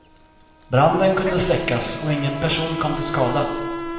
Branden kunde släckas och ingen person kom till skada.